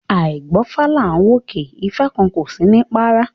A àí gbọ́fá là ń wòkè, ifá kan kò sí ní párá